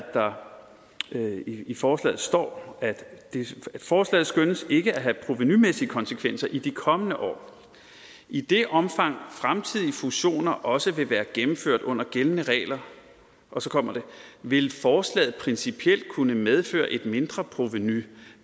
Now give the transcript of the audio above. der i forslaget står forslaget skønnes derfor ikke at have provenumæssige konsekvenser i de kommende år i det omfang fremtidige fusioner også ville være gennemført under gældende regler og så kommer det vil forslaget principielt kunne medføre et mindre provenu